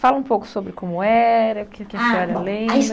Fala um pouco sobre como era, o que que a senhora lembra. A